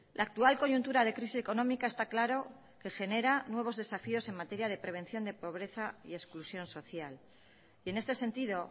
la actual coyuntura de crisis económica está claro que genera nuevos desafíos en materia de prevención de pobreza y exclusión social y en este sentido